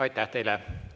Aitäh teile!